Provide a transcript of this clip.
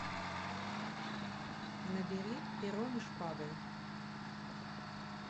набери пером и шпагой